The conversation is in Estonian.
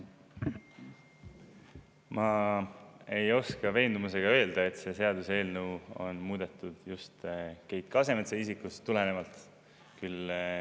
Ma ei saa täie veendumusega öelda, et seda seadust muudetakse just Keit Kasemetsa isikust tulenevalt.